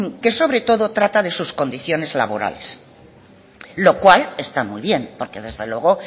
que sobre todo trata de sus condiciones laborales lo cual está muy bien porque desde luego